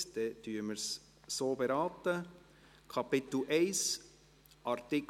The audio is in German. – Dies ist auch nicht der Fall.